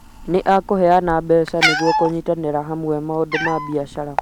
Nĩekũheana mbeca nĩguo kũnyitanĩra hamwe maũndũ ma biacara